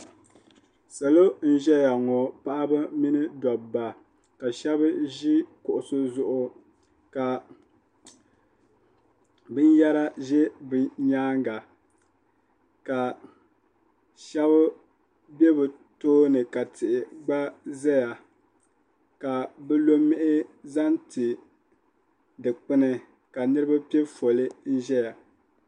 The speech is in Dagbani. Salo n-ʒeya ŋɔ paɣiba mini dobba ka shɛba ʒi kuɣusi zuɣu ka binyɛra ʒe bɛ nyaaŋa ka shɛba be bɛ tooni ka tihi gba zaya ka bɛ lo mihi zaŋ ti dukpuni ka niriba pe foli n-ʒeya.